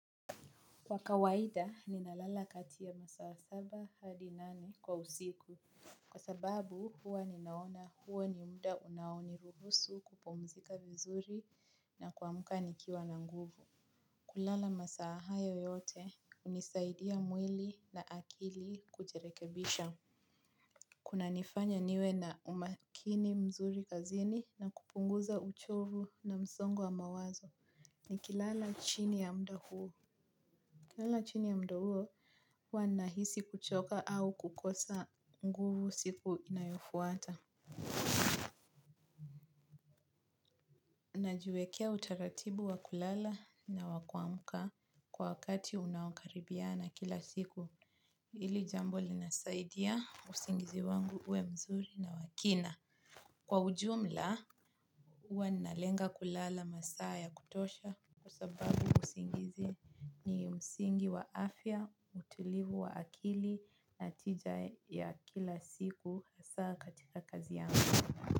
Kwa kawaida ninalala kati ya masaa saba hadi nane kwa usiku. Kwa sababu huwa ninaona huo ni mda unaoniruhusu kupumzika vizuri na kuamka nikiwa na nguvu. Kulala masaa hayo yote unisaidia mwili na akili kujirekebisha. Kunanifanya niwe na umakini mzuri kazini na kupunguza uchovu na msongo wa mawazo. Nikilala chini ya mda huo nikilala chini ya mda uo huwa ninahisi kuchoka au kukosa nguvu siku inayofuata. Najiwekea utaratibu wa kulala na wa kuamka kwa wakati unaokaribiana kila siku. Ili jambo linasaidia usingizi wangu uwe mzuri na wa kina. Kwa ujumla, huwa ninalenga kulala masaa ya kutosha. Kwa sababu usingizi ni msingi wa afya, utilivu wa akili na tija ya kila siku hasaa katika kazi yangu.